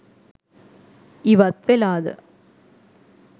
ඉවත් වෙලාද?